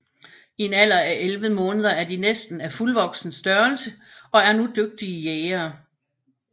I en alder af 11 måneder er de næsten af fuldvoksen størrelse og er nu dygtige jægere